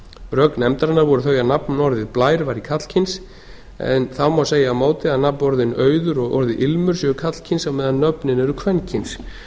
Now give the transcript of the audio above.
rök nefnarinnar voru þau að nafnorðið blær væri karlkyns en þá má segja á móti að nafnorðin auður og orðið ilmur séu karlkyns meðan nöfnin eru kvenkyns